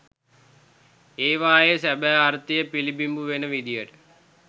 ඒවායේ සැබෑ අර්ථය පිලිබිඹු වෙන විදියට